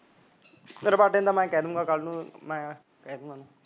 ਰਬਾਬੇ ਨੂੰ ਤਾਂ ਮੈਂ ਕਹਿ ਦੂੰਗਾ ਕੱਲ ਨੂੰ ਮੈਂ ਕਹਿਦੂੰਗਾ